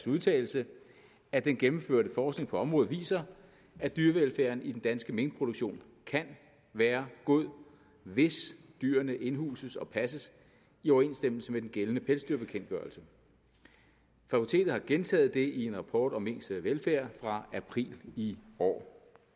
udtalelse at den gennemførte forskning på området viser at dyrevelfærden i den danske minkproduktion kan være god hvis dyrene indhuses og passes i overensstemmelse med den gældende pelsdyrbekendtgørelse fakultetet har gentaget det i en rapport om minks velfærd fra april i år